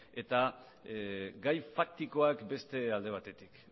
eta gai faktikoak beste alde batetik